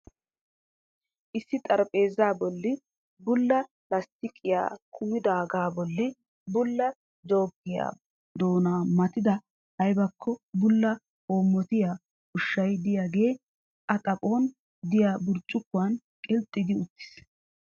Issi xarsphpheeza bolli bulla lastiqqiya kammidoogaa bolli bulla jookiyawu doonaa matida aybakko bulla hoomotiya ushshay diyaagee a xaphphoon diyaa burccuqquwaan qilxxi gi uttiis.